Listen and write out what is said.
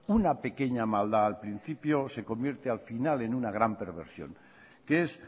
una pequeña maldad al principio se convierte al final en una gran perversión que es